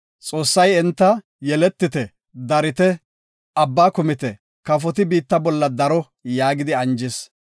Xoossay enta, “Yeletite, darite, abba kumite, kafoti biitta bolla daro” yaagidi anjis.